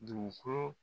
Dugukolo